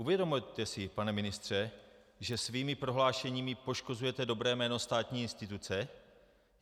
Uvědomujete si, pane ministře, že svými prohlášeními poškozujete dobré jméno státní instituce?